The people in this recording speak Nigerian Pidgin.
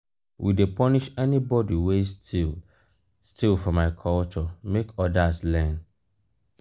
we dey punish anybodi wey steal steal for my culture make odas learn.